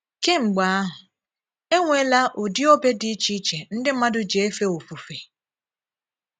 Kèmgbè ahụ, e nweela ụdị òbè dị iche iche ndị̀ mmadụ jì éfè òfùfè.